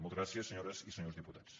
moltes gràcies senyores i senyors diputats